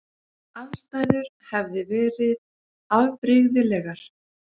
Aðstæður hefði verið afbrigðilegar